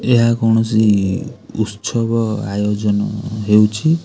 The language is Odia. ଏହା କୌଣସି ଉତ୍ସବ ଆୟୋଜନ ହେଉଛି।